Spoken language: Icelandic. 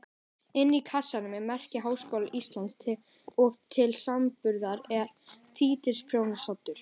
Inni í kassanum er merki Háskóla Íslands og til samanburðar er títuprjónsoddur.